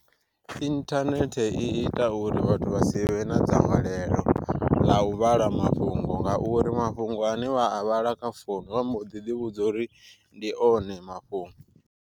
Inthanethe i ita uri vhathu vha si vhe na dzangalelo ḽa u vhala mafhungo, nga uri mafhungo ane vha a vhala kha founu vha mbo ḓi ḓi vhudza uri ndi one mafhungo.